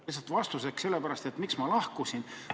Lihtsalt vastuseks sellele, miks ma lahkusin.